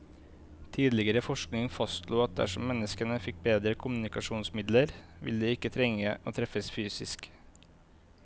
Tidligere forskning fastslo at dersom menneskene fikk bedre kommunikasjonsmidler, ville de ikke trenge å treffes fysisk.